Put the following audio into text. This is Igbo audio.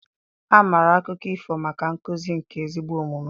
A maara akụkọ ifo maka nkuzi nke ezigbo omume